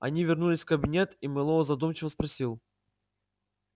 они вернулись в кабинет и мэллоу задумчиво спросил